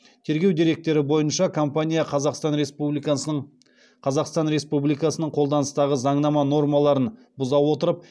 тергеу деректері бойынша компания қазақстан республикасының қолданыстағы заңнама нормаларын бұза отырып